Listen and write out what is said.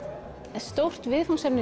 en stórt viðfangsefni